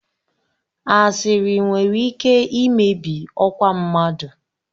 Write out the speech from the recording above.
Asịrị nwere ike imebi ọkwa mmadụ.